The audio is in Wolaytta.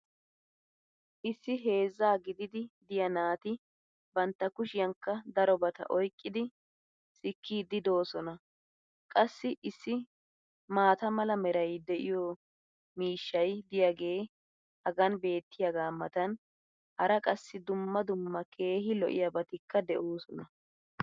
Issi heezzaa giddidi diyaa naati bantta kushiyankka darobata oykkidi sikiidi doosona qassi issi maata mala meray de'iyo miishshay diyaagee hagan beetiyaagaa matan hara qassi dumma dumma keehi lo'iyaabatikka de'oosona.